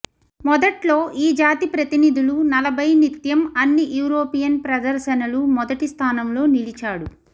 మొదట్లో ఈ జాతి ప్రతినిధులు నలభై నిత్యం అన్ని యూరోపియన్ ప్రదర్శనలు మొదటి స్థానంలో నిలిచాడు